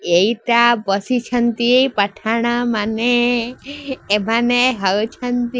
ଏଇଟା ବସିଛନ୍ତି ପଠାଣମାନେ ଏମାନେ ହଉଛନ୍ତି --